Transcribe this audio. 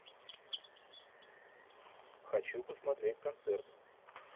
хочу посмотреть концерт